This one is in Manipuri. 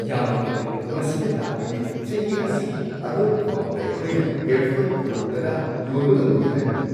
ꯌꯥꯝꯅ ꯐꯔꯦ! ꯃꯁꯤꯅ ꯇꯥꯛꯄꯗꯤ ꯆꯍꯤ ꯑꯁꯤꯒꯤ ꯑꯔꯣꯏꯕ ꯐꯥꯎꯕꯗ ꯑꯩꯈꯣꯏꯅ ꯏꯌꯔꯐꯣꯟ ꯀꯔꯣꯔ ꯱꯰ ꯌꯣꯟꯕ ꯉꯝꯒꯅꯤ ꯍꯥꯏꯕꯅꯤ꯫